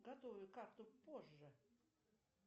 готовлю карту позже